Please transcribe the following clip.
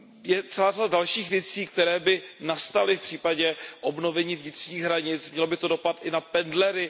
Je celá řada dalších věcí, které by nastaly v případě obnovení vnitřních hranic, mělo by to dopad i na pendlery.